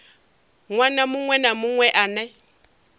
ṅwana muṅwe na muṅwe ane